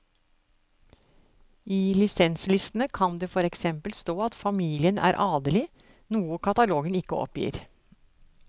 I lisenslistene kan det for eksempel stå at familien er adelig, noe katalogen ikke oppgir.